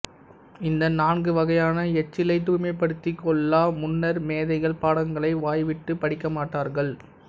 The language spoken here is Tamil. இந்த நான்கு வகையான எச்சிலைத் தூய்மைப்படுத்திக் கொள்ளா முன்னர் மேதைகள் பாடங்களை வாய்விட்டுப் படிக்கமாட்டார்கள்